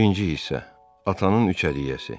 Birinci hissə: Atanın üç əliyyəsi.